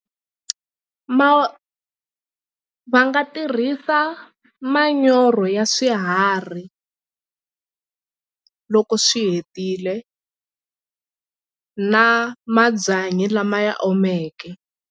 Ma va nga tirhisa manyoro ya swiharhi loko swi hetile na mabyanyi lama ya omeke.